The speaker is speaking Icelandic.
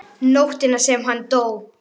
Nóttina sem hann dó?